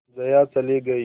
जया चली गई